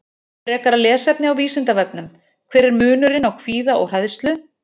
Frekara lesefni á Vísindavefnum: Hver er munurinn á kvíða og hræðslu?